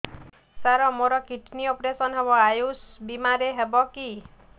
ସାର ମୋର kidney operation ହେବ ଆୟୁଷ ବିମାରେ ହେବ କି